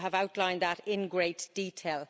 You have outlined that in great detail.